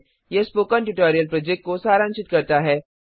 यह spoken tutorial project को सारांशित करता है